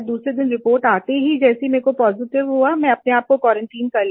दूसरे दिन रिपोर्ट आते ही जैसे ही मुझे पॉजिटिव हुआ मैंने अपने आप को क्वारंटाइन कर लिया